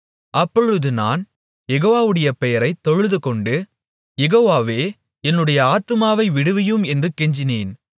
அப்பொழுது நான் யெகோவாவுடைய பெயரைத் தொழுதுகொண்டு யெகோவாவே என்னுடைய ஆத்துமாவை விடுவியும் என்று கெஞ்சினேன்